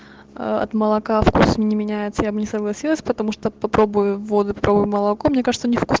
а от молока вкус не меняется я бы не согласилась потому что попробую воду и попробуй молоко мне кажется у них вкус